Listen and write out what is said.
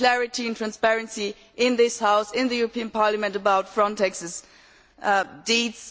We need clarity and transparency in this House, in the European Parliament, about Frontex's deeds.